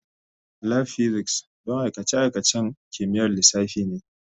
Lab Physics don aikace-aikacen kimiyyar lissafi ne.